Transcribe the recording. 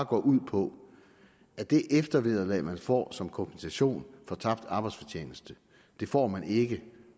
går ud på at det eftervederlag man får som kompensation for tabt arbejdsfortjeneste får man ikke